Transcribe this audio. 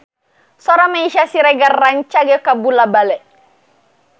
Sora Meisya Siregar rancage kabula-bale